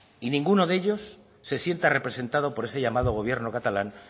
y ninguno de ellos se siente representado por ese llamado gobierno catalán